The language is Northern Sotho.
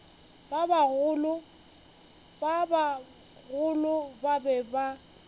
ba bagolo ba be ba